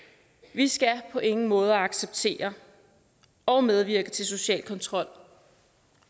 vi skal på ingen måde acceptere og medvirke til social kontrol